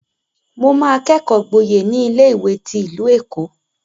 Mo máa kẹ́kọ̀ọ́ gboyè ní ilé-ìwé ti ìlú Èkó.